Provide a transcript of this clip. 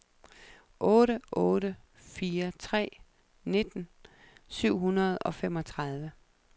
otte otte fire tre nitten syv hundrede og femogtredive